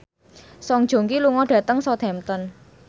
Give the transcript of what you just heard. Song Joong Ki lunga dhateng Southampton